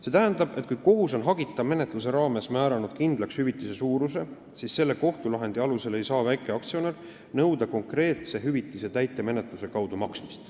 See tähendab, et kui kohus on hagita menetluse raames määranud kindlaks hüvitise suuruse, siis selle kohtulahendi alusel ei saa väikeaktsionär nõuda konkreetse hüvitise täitemenetluse kaudu maksmist.